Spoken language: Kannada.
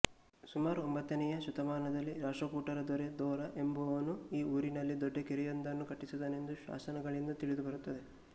ಸುಮಾರು ಒಂಬತ್ತನೆಯ ಶತಮಾನದಲ್ಲಿ ರಾಷ್ಟ್ರಕೂಟರ ದೊರೆ ದೋರ ಎಂಬುವವನು ಈ ಊರಿನಲ್ಲಿ ದೊಡ್ಡಕೆರೆಯೊಂದನ್ನು ಕಟ್ಟಿಸಿದನೆಂದು ಶಾಸನಗಳಿಂದ ತಿಳಿದುಬರುತ್ತದೆ